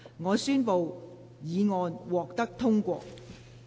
我宣布議案獲得通過。